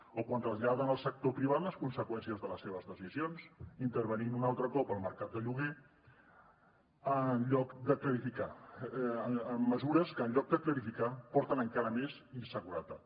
o quan traslladen al sector privat les conseqüències de les seves decisions intervenint un altre cop al mercat de lloguer amb mesures que en lloc de clarificar porten encara més inseguretat